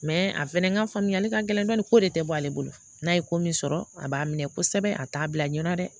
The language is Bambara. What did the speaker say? Mɛ a fɛnɛ ka faamuyali ka gɛlɛn dɔɔnin ko de tɛ bɔ ale bolo n'a ye ko min sɔrɔ a b'a minɛ kosɛbɛ a t'a bila ɲɛ na dɛ